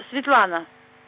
светлана